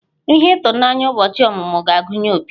Ihe ịtụnanya ụbọchị ọmụmụ ga-agụnye opi.